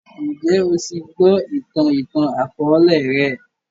Njẹ o ti gbọ itan itan-akọọlẹ rẹ?